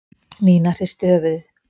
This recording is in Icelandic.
Nína hristi höfuðið.